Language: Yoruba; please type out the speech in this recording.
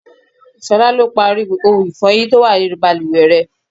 Ṣolá lo parí ohun ifọyin tó wà nínú bàlùwẹ̀ rẹ.